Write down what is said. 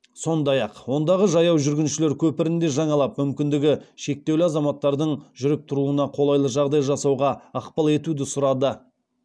сондай ақ ондағы жаяу жүргіншілер көпірін де жаңалап мүмкіндігі шектеулі азаматтардың жүріп тұруына қолайлы жағдай жасауға ықпал етуді сұрады